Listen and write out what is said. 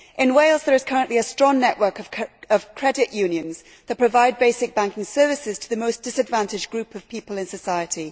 In Wales there is currently a strong network of credit unions that provide basic banking services to the most disadvantaged group of people in society.